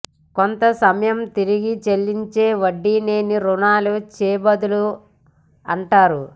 కొంత సమయంలో తిరిగి చెల్లించే వడ్డీ లేని రుణాన్ని చేబదులు అంటారు